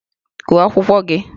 Gụọ akwụkwọ gị!